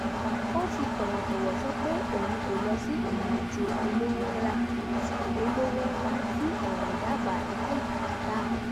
ó fi tọ̀wọ̀tọ̀wọ̀ sọ pé òun kò lọ sí ìrìn àjò olówo ńlá tí olówo ńlá tí ọ̀rẹ́ dábàá láì bìkítà